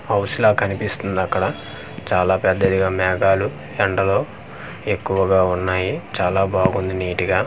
House లా కనిపిస్తుంది అక్కడ చాలా పెద్దదిగా మేఘాలు ఎండలు ఎక్కువగా వున్నాయి చాలా బావుంది నీట్ గా .]